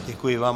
Děkuji vám.